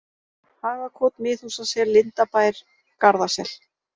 Hagakot, Miðhúsasel, Lindabær, Garðasel